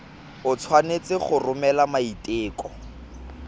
o tshwanetse go romela maiteko